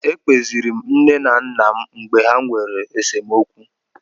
Ekpeziiri m nne m na nna m mgbe ha nwere esemokwu.